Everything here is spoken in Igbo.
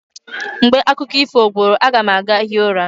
Mgbe akụkọ ifo gwụrụ, a ga m aga hie ụra.